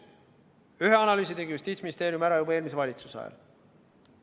Ühe analüüsi tegi Justiitsministeerium ära juba eelmise valitsuse ajal.